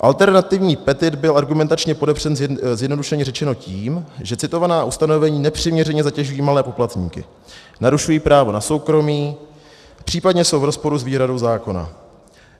Alternativní petit byl argumentačně podepřen zjednodušeně řečeno tím, že citovaná ustanovení nepřiměřeně zatěžují malé poplatníky, narušují právo na soukromí, případně jsou v rozporu s výhradou zákona.